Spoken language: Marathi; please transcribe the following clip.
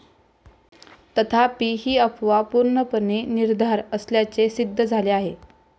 तथापि ही अफवा पूर्णपणे निराधार असल्याचे सिद्ध झाले आहे.